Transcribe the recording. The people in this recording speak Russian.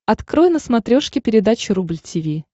открой на смотрешке передачу рубль ти ви